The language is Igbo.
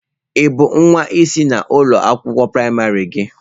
Ị bụ nwa isi na ụlọ akwụkwọ praịmarị gị?